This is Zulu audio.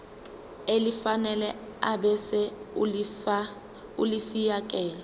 elifanele ebese ulifiakela